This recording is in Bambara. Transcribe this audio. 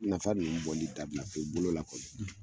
Nafa ninnu bɔli dabila pewu, bolola kɔni.